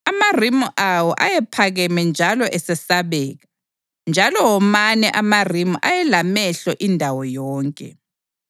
Amarimu awo ayephakeme njalo esesabeka, njalo womane amarimu ayelamehlo indawo yonke.